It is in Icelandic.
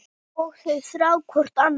Og þau þrá hvort annað.